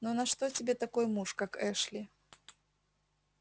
ну на что тебе такой муж как эшли